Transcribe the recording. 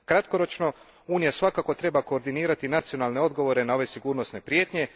Kratkoročno, Unija svakako treba koordinirati nacionalne odgovore na ove sigurnosne prijetnje.